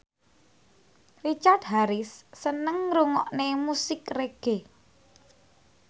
Richard Harris seneng ngrungokne musik reggae